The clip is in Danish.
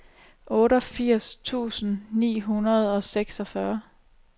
otteogfirs tusind ni hundrede og seksogfyrre